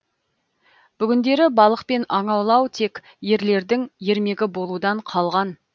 бүгіндері балық пен аң аулау тек ерлердің ермегі болудан қалған